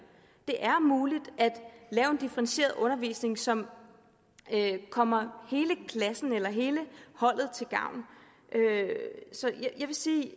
er muligt at lave en differentieret undervisning som kommer hele klassen eller hele holdet til gavn jeg vil sige